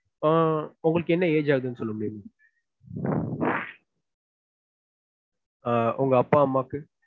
ஆஹ் உங்களுக்கு என்ன age ஆகுது ஆஹ் சொல்லுங்க உங்க அம்மா அப்பாக்கு